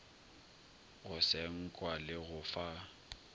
go senkwa le go fa